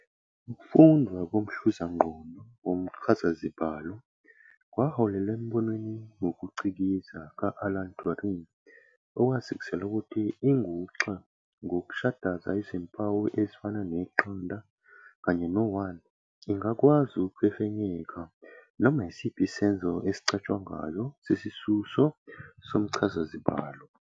Ukufundwa komhluzangqondo womchazazibalo kwaholela embonweni wokucikiza ka-Alan Turing, owasikisela ukuthi inguxa, ngokushadaza izimpawu ezifana ne-"0" kanye no- "1", ingakwazi ukufefenyeka noma isiphi isenzo esicatshangwayo sesisuso somchazazibalo.